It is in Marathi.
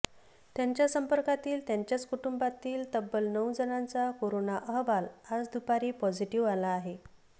त्यांच्या संपर्कातील त्यांच्याच कुटुंबातील तब्बल नऊ जणांचा कोरोना अहवाल आज दुपारी पॉझिटीव्ह आला आहे